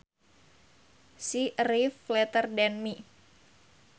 She arrived later than me